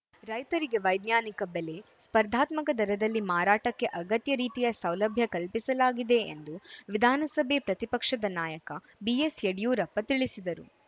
ರೈತರಿಗೆ ವೈಜ್ಞಾನಿಕ ಬೆಲೆ ಸ್ಪರ್ಧಾತ್ಮಕ ದರದಲ್ಲಿ ಮಾರಾಟಕ್ಕೆ ಅಗತ್ಯ ರೀತಿಯ ಸೌಲಭ್ಯ ಕಲ್ಪಿಸಲಾಗಿದೆ ಎಂದು ವಿಧಾನಸಭೆ ಪ್ರತಿಪಕ್ಷದ ನಾಯಕ ಬಿಎಸ್‌ಯಡಿಯೂರಪ್ಪ ತಿಳಿಸಿದರು